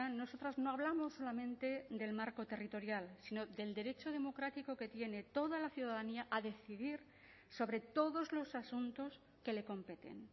nosotras no hablamos solamente del marco territorial sino del derecho democrático que tiene toda la ciudadanía a decidir sobre todos los asuntos que le competen